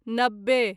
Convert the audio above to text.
नब्बे